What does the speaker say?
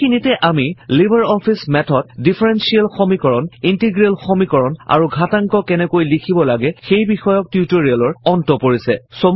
এইখিনিতে আমাৰ LibreOffice Math ত ডিফাৰেনশ্বিয়েল সমীকৰণ ইন্টিগ্ৰেল সমীকৰণ আৰু ঘাতাংক কেনেকৈ লিখিব লাগে সেই বিষয়ক টিউটৰিয়েলৰ অন্ত পৰিছে